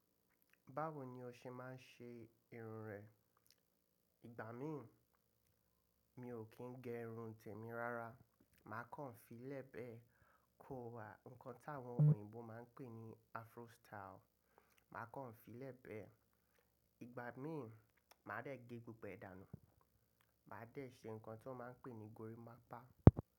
Báwo ni o ṣe máa ń ṣe irun rẹ? Ìgbà mí mi ò kí ń gẹ irun tèmi rárá, màá kàn filé bẹ́ẹ̀ kó wa, nnkan táwọn òyìnbó máa ń pè ní Afro style, màá kàn filé bẹ́ẹ̀. Ìgbà mí mi máa rẹ̀ gé gbogbo ẹ̀dà nú, màá dẹ̀ ṣe nnkan tí wọ́n máa ń pè ní gorimapa.